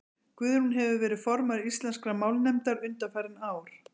guðrún hefur verið formaður íslenskrar málnefndar undanfarin ár